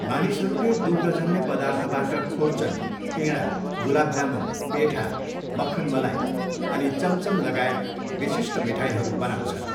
मानिसहरूले दुग्धजन्य पदार्थबाट खुर्चन, पेँडा, गुलाब जामुन, पेठा, मक्खन मलाई अनि चमचमलगायत विशिष्ट मिठाईहरू बनाउँछन्।